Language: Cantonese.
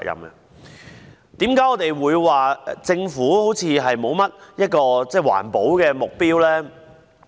為何我們會說政府似乎沒有訂立環保目標呢？